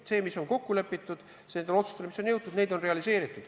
See, mis on kokku lepitud, need otsused, milleni on jõutud, on realiseeritud.